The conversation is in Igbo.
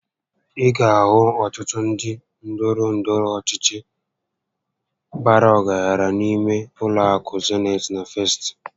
Ị ga ahụ ọtụtụ ndị ndọrọ ndọrọ ọchịchị bàrà ọgaranya n'ime ụlọ akụ Zenit na Festị